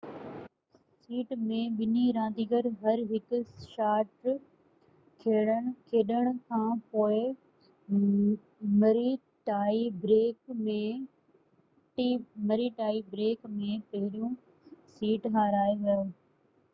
set ۾ ٻني رانديگرن هر هڪ شاٽ کيڏڻ کانپوءِ مري ٽائي بريڪ ۾ پهريون سيٽ هارائي ويو